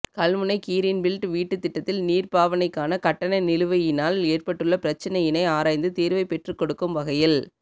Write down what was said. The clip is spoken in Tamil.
கல்முனை கிறீன் பீல்ட் வீட்டுத்திட்டத்தில் நீர்ப் பாவனைக்கான கட்டண நிலுவையினால் ஏற்பட்டுள்ள பிரச்சினையினை ஆராய்ந்து தீர்வைப் பெற்றுக்கொடுக்கும் வகையில்